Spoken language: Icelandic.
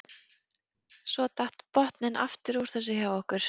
Svo datt botninn aftur úr þessu hjá okkur.